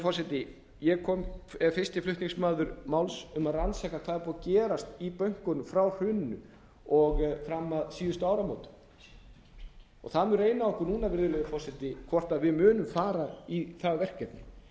forseti ég er fyrsti flutningsmaður máls um að rannsaka hvað er búið að gerast í bönkunum frá hruninu og fram að síðustu áramótum það mun reyna á okkur núna virðulegi forseti hvort við munum fara í það verkefni